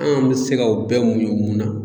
An' bɛ se ka o bɛɛ muɲu mun na?